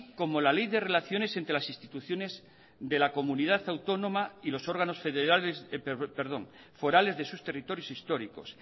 como la ley de relaciones entre las instituciones de la comunidad autónoma y los órganos forales de sus territorios históricos